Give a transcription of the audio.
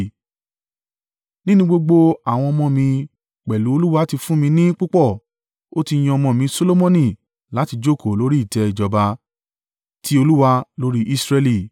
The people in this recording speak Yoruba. Nínú gbogbo àwọn ọmọ mi pẹ̀lú Olúwa ti fún mi ní púpọ̀, ó ti yan ọmọ mi Solomoni láti jókòó lórí ìtẹ́ ìjọba ti Olúwa lórí Israẹli.